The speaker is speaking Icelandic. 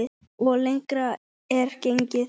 Og lengra er gengið.